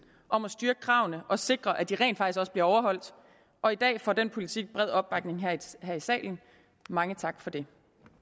om at styrke kravene og sikre at de rent faktisk bliver overholdt og i dag får den politik bred opbakning her i salen mange tak for det